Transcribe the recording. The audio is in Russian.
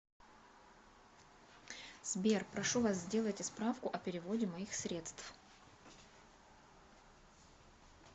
сбер прошу вас сделайте справку о переводе моих средств